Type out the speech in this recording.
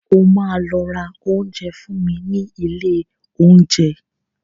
O máa lọ ra oúnjẹ fún mi nílé oúnjẹ.